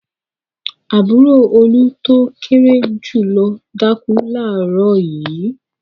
Àbúrò Olú tó kéré jù lọ dákú láàárọ̀ yìí.